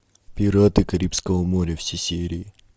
пираты карибского моря все серии